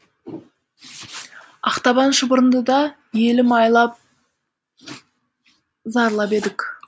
ақтабан шұбырындыда елім айлап зарлап едік